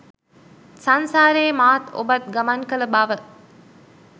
සංසාරේ මාත් ඔබත් ගමන් කළ බව